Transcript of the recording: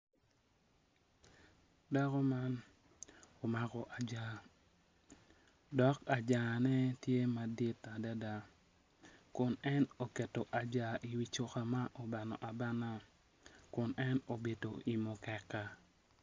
Dako man omako ajar dok ajarne tye madit adada kun eni oketo ajar i wi cuka ma obano abana kun en obedo i mukeka.